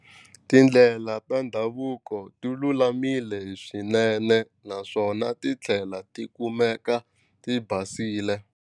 Tindlela ta ndhavuko ti lulamile swinene naswona ti tlhela ti kumeka ti basile.